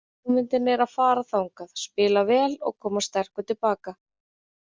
Hugmyndin er að fara þangað, spila vel og koma sterkur til baka.